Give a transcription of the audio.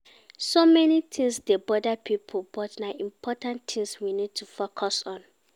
So many things dey bother pipo but na di important things we need to focus on